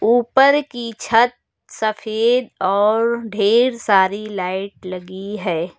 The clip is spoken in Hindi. ऊपर की छत सफेद और ढेर सारी लाइट लगी है।